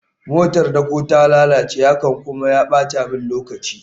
motar dako ta lalace, hakan kuma ya bata min lokaci